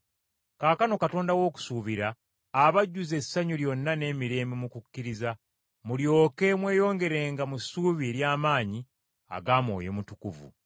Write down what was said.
Kaakano Katonda w’okusuubira, abajjuze essanyu lyonna n’emirembe mu kukkiriza, mulyoke mweyongerenga mu ssuubi ery’amaanyi aga Mwoyo Mutukuvu.